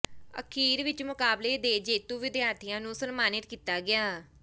ਅਖੀਰ ਵਿਚ ਮੁਕਾਬਲੇ ਦੇ ਜੇਤੂ ਵਿਦਿਆਰਥੀਆਂ ਨੂੰ ਸਨਮਾਨਿਤ ਕੀਤਾ ਗਿਆ